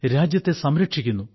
രാജ്യത്തെ സംരക്ഷിക്കുന്നു